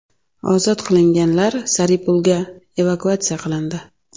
Ozod qilinganlar Saripulga evakuatsiya qilindi.